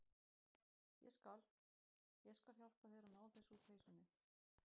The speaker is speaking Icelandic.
Ég skal. ég skal hjálpa þér að ná þessu úr peysunni.